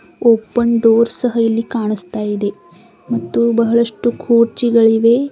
Open door ಸಹ ಇಲ್ಲಿ ಕಾಣಿಸ್ತಾ ಇದೆ ಮತ್ತು ಬಹಳಷ್ಟು ಕುರ್ಚಿಗಳಿಗವೆ.